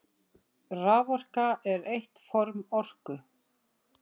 Raforka er eitt form orku.